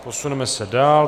Posuneme se dál.